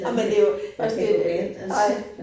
Ej men det jo også det ej